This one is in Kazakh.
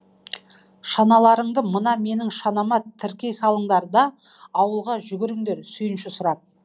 шаналарыңды мына менің шанама тіркей салыңдар да ауылға жүгіріңдер сүйінші сұрап